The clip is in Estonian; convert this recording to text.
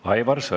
Aivar Sõerd.